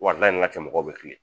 Wari la ni na tɛ mɔgɔw bɛ kilen